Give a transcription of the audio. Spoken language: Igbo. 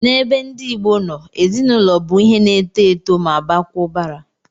N'ebe ndị Igbo no, ezinụlọ bụ ihe na-eto eto ma baakwa ụbara